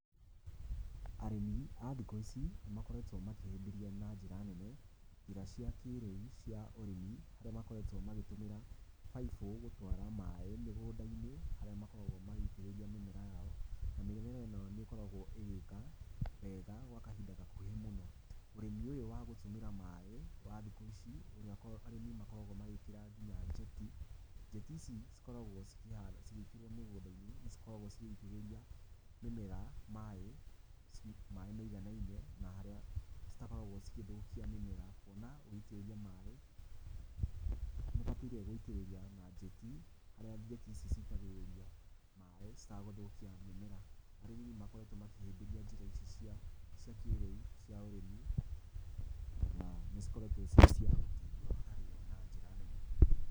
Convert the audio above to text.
Arĩmi a thikũ ici nĩ makoretwo makĩhĩmbĩria na njĩra nene njĩra cia kĩrĩu cia ũrĩmi iria makoretwo magĩtũmĩra baibũ gũtwara maaĩ mũgũnda-inĩ marĩa makoragwo magĩitĩrĩria mĩmera yao. Mĩmera ĩno nĩ ĩkoragwo ĩgĩka wega gwa kahinda gakuhĩ mũno. Ũrĩmi ũyũ wa gũtũmĩra maaĩ wa thikũ ici ũria arĩmi makoragwo magĩkira nginya njeti, njeti icI cikoragwo cigĩkĩrwo mĩgũnda-inĩ nĩ cikoragwo cigĩitĩriria mĩmera maaĩ maiganine na harĩa citakoragwo cigĩthũkia mĩmera. Ona ũgĩitĩrĩria maaĩ nĩ ũbataire gũitĩriria na njeti harĩa njeti ici citagĩriria maaĩ itagũthũkia mĩmera. Arĩmi nĩ makoretwo makĩhĩmbĩria njĩra ici cia kĩrĩu cia ũrĩmi na nĩ cikoretwo cirĩ cia ũteithio wa arimi na njĩra nene.